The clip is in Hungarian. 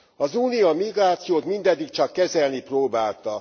Az Unió a migrációt mindeddig csak kezelni próbálta.